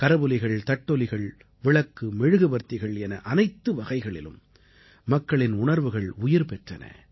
கரவொலிகள் தட்டொலிகள் விளக்கு மெழுகுவர்த்திகள் என அனைத்து வகைகளிலும் மக்களின் உணர்வுகள் உயிர் பெற்றன